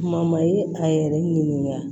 Kuma ma ye a yɛrɛ ɲinika